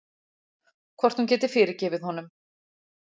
Hvort hún geti fyrirgefið honum.